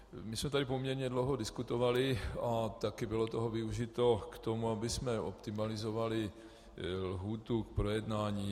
My jsme tady poměrně dlouho diskutovali a taky bylo toho využito k tomu, abychom optimalizovali lhůtu k projednání.